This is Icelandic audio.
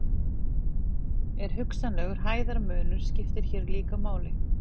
en hugsanlegur hæðarmunur skiptir hér líka máli